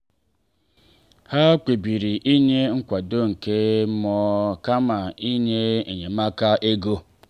ha kpebiri inye nkwado nke mmụọ kama inye enyemaka ego.